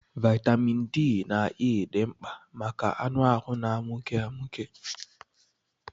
Vaịtamịn D na E dị mkpa maka anụ ahụ na-amụke amụke.